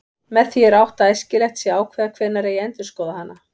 Með því er átt við að æskilegt sé að ákveða hvenær eigi að endurskoða hana.